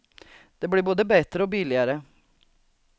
Det blir både bättre och billigare.